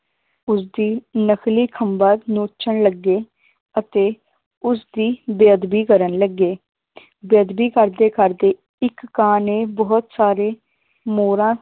ਉਸਦੀ ਨਕਲੀ ਖੰਭਾਂ ਨੋਚਣ ਲੱਗੇ ਅਤੇ ਉਸਦੀ ਬੇਅਦਬੀ ਕਰਨ ਲੱਗੇ ਬੇਅਦਬੀ ਕਰਦੇ ਕਰਦੇ ਇਕ ਕਾਂ ਨੇ ਬਹੁਤ ਸਾਰੇ ਮੋਰਾਂ